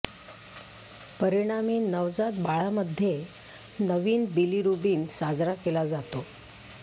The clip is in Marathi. परिणामी नवजात बाळामध्ये नवीन बिलीरुबिन साजरा केला जातो